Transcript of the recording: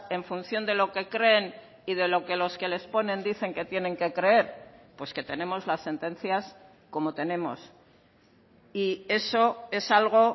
en función de lo que creen y de lo que los que les ponen dicen que tienen que creer pues que tenemos las sentencias como tenemos y eso es algo